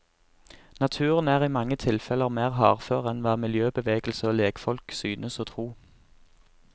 Naturen er i mange tilfeller mer hardfør enn hva miljøbevegelse og legfolk synes å tro.